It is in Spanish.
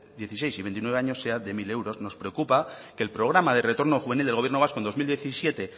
dieciséis y veintinueve años sean de mil euros nos preocupa que el programa de retorno juvenil del gobierno vasco en dos mil diecisiete